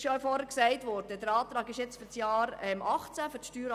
Der Antrag wurde für die Steueranlage des Jahrs 2018 gestellt.